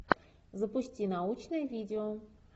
запусти научное видео